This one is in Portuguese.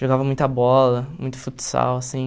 Jogava muita bola, muito futsal assim.